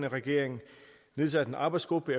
regering nedsat en arbejdsgruppe